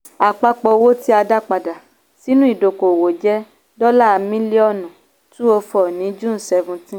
àpapọ̀ owó tí a dá padà sínú ìdókòwò jẹ́ dọ́là mílíọ̀nù 204 ní june 17.